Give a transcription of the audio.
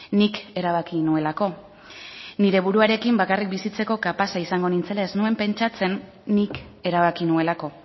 nik erabaki nuelako nire buruarekin bakarrik bizitzeko kapaza izango nintzela ez nuen pentsatzen nik erabaki nuelako